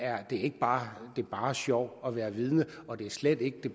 er ikke bare bare sjov at være vidne og det er slet ikke